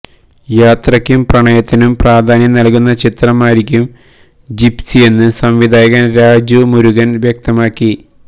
യാത്രക്കും പ്രണയത്തിനും പ്രാധാന്യം നല്കുന്ന ചിത്രമായിരിക്കും ജിപ്സിയെന്ന് സംവിധായകന് രാജു മുരുകന് വ്യക്തമാക്കി